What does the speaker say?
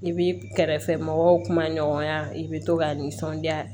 I bi kɛrɛfɛ mɔgɔw kuma ɲɔgɔnya i bɛ to ka nisɔndiya